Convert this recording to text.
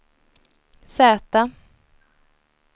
Z